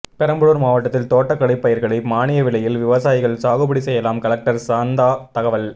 பெரம்பலூர் மாவட்டத்தில் தோட்டக்கலை பயிர்களை மானிய விலையில் விவசாயிகள் சாகுபடி செய்யலாம் கலெக்டர் சாந்தா தகவல்